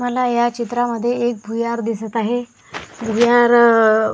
मला या चित्रामध्ये एक भुयार दिसत आहे भुयारा --